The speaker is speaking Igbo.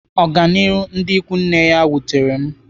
Ọganihu ndị ikwu nne ya wutere m.